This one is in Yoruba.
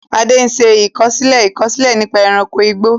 Ade ṣe àkọsílẹ̀ àkọsílẹ̀ nípa ẹranko igbó.